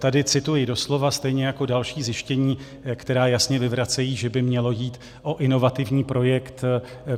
Tady cituji doslova, stejně jako další zjištění, která jasně vyvracejí, že by mělo jít o inovativní projekt.